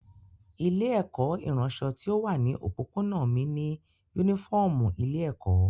Ilé-ẹ̀kọ́ ìránṣọ tí ó wà ní òpópónà mí ní únífọ́ọ́mù ilé-ẹ̀kọ́.